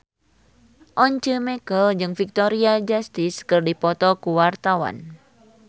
Once Mekel jeung Victoria Justice keur dipoto ku wartawan